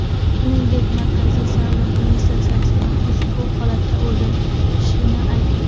Shuningdek, Markaziy saylov komissiyasi ham ushbu holatlar o‘rganilishini aytdi.